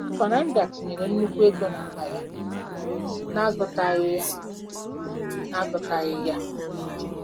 * Fernanda tinyere nnukwu ego n'akpa ya n'agụtaghị ya n'agụtaghị ya.